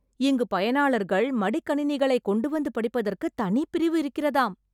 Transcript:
இங்கு பயனாளர்கள் மடிக்கணினிகளைக் கொண்டுவந்து படிப்பதற்கு தனிப் பிரிவு இருக்கிறதாம்.